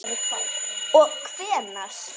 Og hvenær?